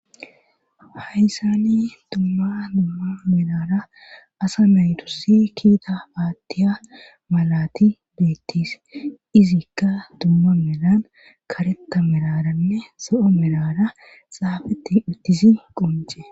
Hayssani dumma dumma milara asa maytussi kiita baattiya malati beettis izikka dumma melan karetta meraranne so'o milara saafetti ittisi qonce.